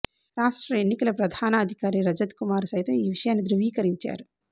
రాష్ట్ర ఎన్నికల ప్రధానాధికారి రజత్ కుమార్ సైతం ఈ విషయాన్ని ధృవీకరించారు